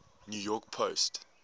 new york post